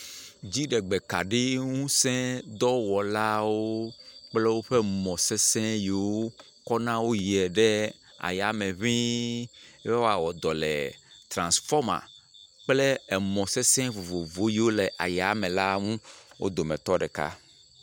Dziɖegbekaɖiŋusẽ dɔwɔlawo kple woƒe mɔ̃sesẽ yiwo kɔna wo yiɛ ɖe ayame ŋɛ̃ɛ̃ be woawɔ dɔ le trãnsfɔma kple emɔ̃ sesẽ vovovo yiwo le ayamela ŋu wo dometɔ ɖeka.